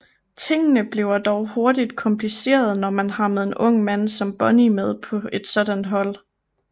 Tingene bliver dog hurtigt komplicerede når man har med en ung mand som Bonney med på et sådan hold